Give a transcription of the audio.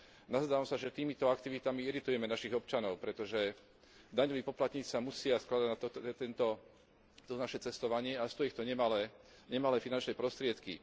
Nazdávam sa, že týmito aktivitami iritujeme našich občanov, pretože daňoví poplatníci sa musia skladať na toto naše cestovanie a stojí ich to nemalé finančné prostriedky.